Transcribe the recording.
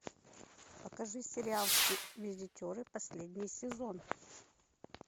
покажи сериал визитеры последний сезон